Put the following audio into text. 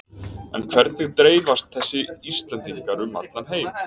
En hvernig dreifast þessi Íslendingar um heiminn?